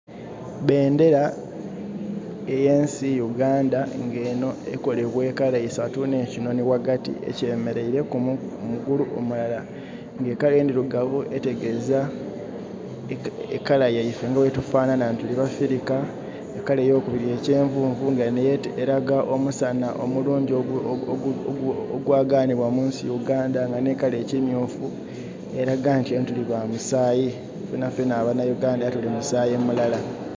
Bendhera eyensi Uganda nga enho ekolebwa color isatu nhe'kinhonhi ghagati ekyemereire ku mugulu omulala. Nga color endhirugavu etegeza color yaife nga bwetufanhanha nti tuli bafirika, ekala eyokubiri ekyenvunvu nga yo eraga omusanha omulungi ogwaganibwa mu nsi Uganda, nga nhi color eya ekimyufu eraga nti tuli bamusaayi fenafena ababaganda tuli ba musaayi mulala.